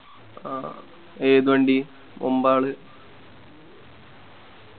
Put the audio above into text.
അഹ് ഏത് വണ്ടി ഒമ്പാൽ